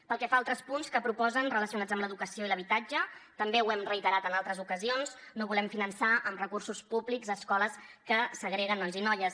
pel que fa a altres punts que proposen relacionats amb l’educació i l’habitatge també ho hem reiterat en altres ocasions no volem finançar amb recursos públics escoles que segreguen nois i noies